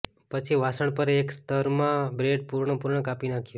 પછી વાસણ પર એક સ્તર માં બ્રેડ પૂર્ણપણે કાપી નાંખ્યું